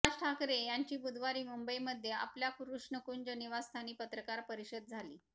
राज ठाकरे यांची बुधवारी मुंबईमध्ये आपल्या कृष्णकुंज निवासस्थानी पत्रकार परिषद झाली